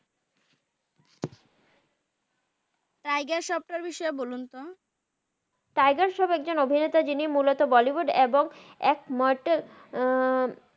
তিগের সফট এর বিষয়ে বলুন তো তাগের সফট একজন অভিনেতা জিনি মুলত বলিউড এবং এক মুরতের উম